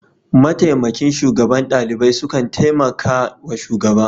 Mataimakin shugaban ɗalibai sukan taimaka wa shugaba.